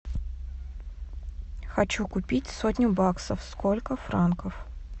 хочу купить сотню баксов сколько франков